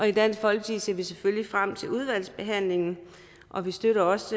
i dansk folkeparti ser vi selvfølgelig frem til udvalgsbehandlingen og vi støtter også